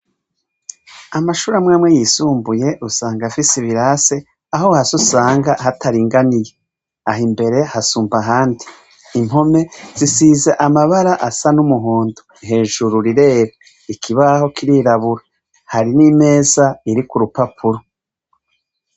Amashure amwe amwe yisumbuye, usanga afise ibirase, aho hasi usanga hataringaniye. Aha imbere, hasumba ahandi. Impome, zisize amabara asa n' umuhondo, hejuru rirera, ikibaho kirirabura. Hari n' imeza iriko urupapuro.